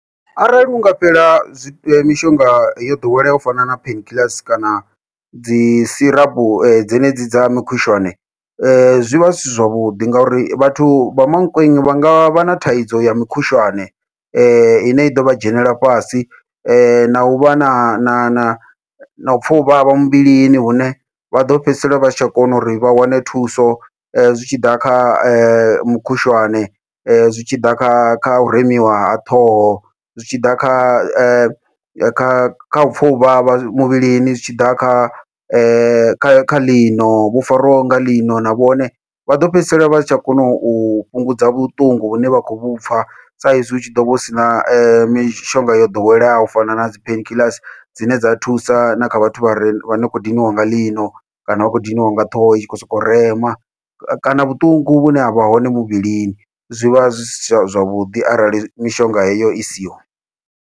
Arali unga fhela zwi mishonga yo ḓoweleaho u fana na pain kiḽasi kana dzi sirapu dzenedzi dza mikhushwane, zwivha zwi si zwavhuḓi ngauri vhathu vha Mankweng vha ngavha na thaidzo ya mikhushwane ine i ḓovha dzhenela fhasi na uvha na na na u pfha u vhavha muvhilini hune vha ḓo fhedzisela vha si tsha kona uri vha wane thuso. Zwitshiḓa kha mukhushwane, zwitshiḓa kha kha u remiwa ha ṱhoho, zwitshiḓa kha kha kha upfha uvhavha muvhilini, zwitshiḓa kha kha kha ḽino vho farwaho nga ḽino na vhone, vha ḓo fhedzisela vha si tsha kona u fhungudza vhuṱungu vhune vha khou vhupfha saizwi hu tshi ḓovha hu sina mishonga yo ḓoweleaho u fana nadzi pain kiḽasi dzine dza thusa na kha vhathu vha re vha ni khou diniwa nga ḽino, kana vha khou diniwa nga ṱhoho i tshi khou sokou rema kana vhuṱungu vhune havha hone muvhilini zwivha zwisi zwavhuḓi arali mishonga heyo i siho.